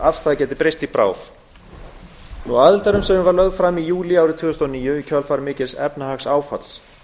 afstaða geti breyst í bráð aðildarumsóknin var lögð fram í júlí árið tvö þúsund og níu í kjölfar mikils efnahagsáfalls